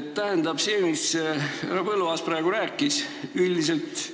Tähendab, see, mida härra Põlluaas praegu rääkis, üldiselt